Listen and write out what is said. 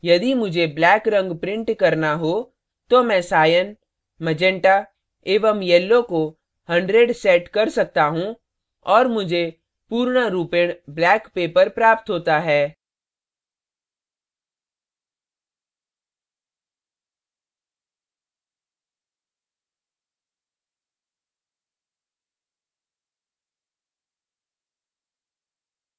यदि मुझे black black रंग print करना हो तो मैं cyan cyan meganta मॅजेन्टा एवं yellow yellow को 100 set कर सकता हूँ और मुझे पूर्णरूपेण black paper प्राप्त होता है